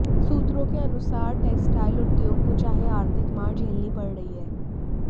सूत्रों के अनुसार टैक्सटाइल्स उद्योग को चाहे आर्थिक मार झेलनी पड़ रही है